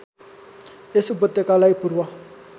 यस उपत्यकालाई पूर्व